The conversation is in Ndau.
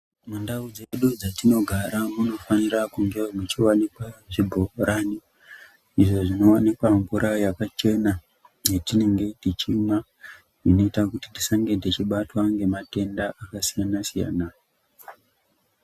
Mundau dzedu dzatinogara munofanira kungewo muchiwanikwa zvibhorani izvo zvinowanikwa mvura yakachena yetinenge tichimwa. Inoita kuti tisange tichibatwa ngematenda akasiyana-siyana.